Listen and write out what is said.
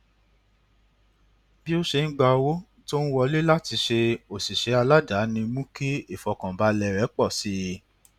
bí ó ṣe ń gba owó tó ń wọlé láti ṣe òṣìṣẹ aládàáni mú kí ìfọkànbalẹ rẹ pọ sí i